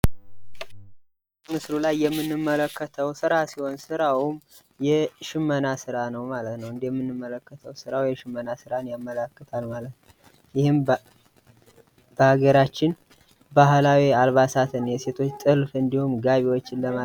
ምስሉ ላይ የምንመልከተው ስራ ሲሆን ስራውም የሽመና ስራ ነው ማለት ነው። እንደምንመለከተው ስራው የሽመናን ስራ ያመላክታል ማለት ነው። ይህም በሀገራችን ባህልዊ አልባሳት የሴቶች ጥልፍ እንዲሁም ጋቢዎችን ለማሰራት ነው።